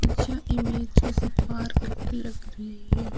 यह इमेज किसी पार्क की लग रही है।